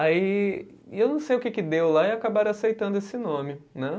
Aí, e eu não sei o que que deu lá e acabaram aceitando esse nome, né?